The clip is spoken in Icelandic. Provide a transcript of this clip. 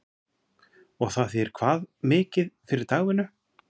Og það þýðir hvað mikið fyrir dagvinnu?